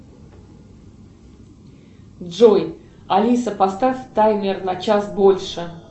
джой алиса поставь таймер на час больше